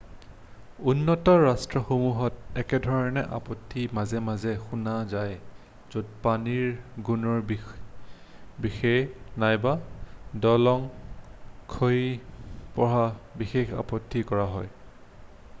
উন্নত ৰাষ্ট্ৰসমূহত একেধৰণৰ আপত্তি মাজে মাজে শুনা যাই য'ত পানীৰ গুণৰ বিষয়ে নাইবা দলং খহি পৰাৰ বিষয়ে আপত্তি কৰা হয়